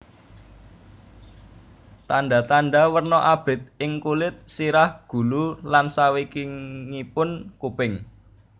Tandha tandha werna abrit ing kulit sirah gulu lan sawingkingipun kuping